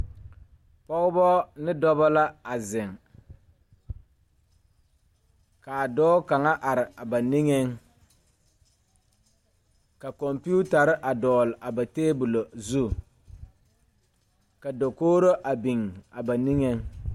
Pɔgebɔ ne dɔbɔ la a zeŋ kaa dɔɔ kaŋa are a ba niŋeŋ ka kɔmpiutarre a dɔgle a ba tabolɔ zu ka dokogro a biŋ a ba niŋeŋ.